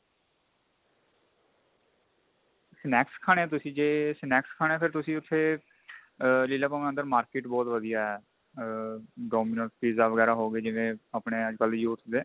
snacks ਖਾਣੇ ਏ ਤੁਸੀਂ ਜੇ snacks ਖਾਣੇ ਤਾਂ ਤੁਸੀਂ ਉੱਥੇ ਆ ਲੀਲਾ ਭਵਨ ਅੰਦਰ market ਬਹੁਤ ਵਧੀਆ ਆ dominos pizza ਵਗੈਰਾ ਹੋ ਗਏ ਜਿਵੇਂ ਆਪਣੇ ਅੱਜਕਲ ਦੇ youth ਦੇ